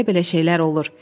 Belə-belə şeylər olur.